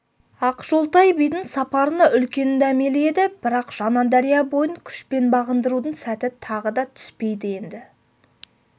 ақжолтай бидің сапарына үлкен дәмелі еді бірақ жаңадария бойын күшпен бағындырудың сәті тағы да түспейді енді